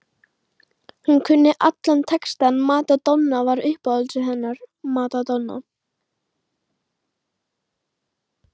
Hún kunni allan textann, Madonna var uppáhaldið hennar, Madonna